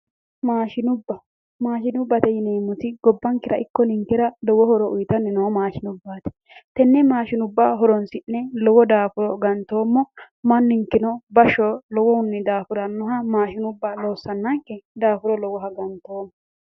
Maashinubba Maashinubbate yineemoti gobbankera ikko ninkera lowo horo uyitanni noo mashinubbaati Tenne maashinubba horonisi'ne lowo daafuro ganttoomo manninikeno bashsho lowo geeshsha daafurannoha maashinubbate loosananke daafuro lowoha gantoommo.